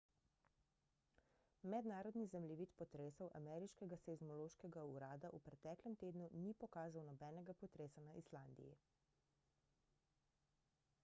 mednarodni zemljevid potresov ameriškega seizmološkega urada v preteklem tednu ni pokazal nobenega potresa na islandiji